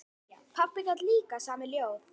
Pabbi gat líka samið ljóð.